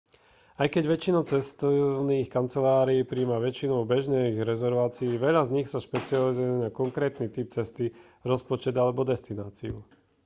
aj keď väčšina cestovných kancelárií prijíma väčšinu bežných rezervácií veľa z nich sa špecializuje na konkrétny typ cesty rozpočet alebo destináciu